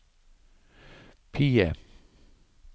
PIE